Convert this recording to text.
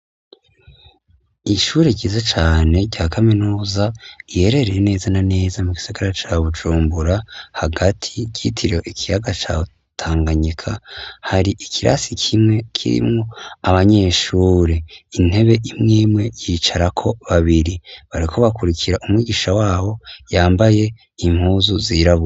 Ishure ryiza cane rya kaminuza iherereye neza na neza mu gisigara ca Bujumbura hagati ryitiriwe ikiyaga ca Tanganyika. Hari ikirasi kimwe kirimwo abanyeshuri intebe imwe imwe yicarako babiri bariko bakurikira umwigisha wabo yambaye impuzu zirabura.